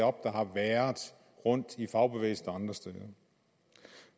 op der har været rundt i fagbevægelsen og andre steder